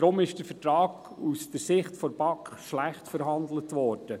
Daher ist der Vertrag aus Sicht der BaK schlecht verhandelt worden.